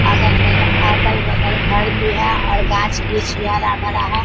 अगल-बगल अगल-बगल घर भी है और गाछ-वृक्ष भी हरा-भरा है।